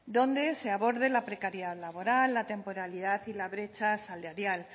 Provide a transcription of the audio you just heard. donde se aborde la precariedad laboral la temporalidad y la brecha salarial